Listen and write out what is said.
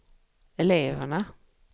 eleverna